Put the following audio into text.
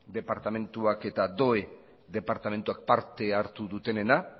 departamentuak eta doe departamentuak parte hartu dutenenena